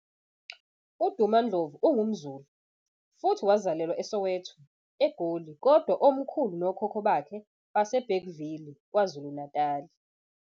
UDuma Ndlovu ungumZulu, futhi wazalelwa eSoweto, eGoli, kodwa omkhulu nokhokho bakhe base Bergville, kwaZulu Natali.